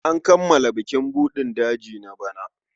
An kammala bukin buɗin daji na bana.